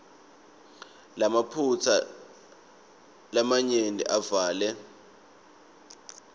lamaphutsa lamanyenti avele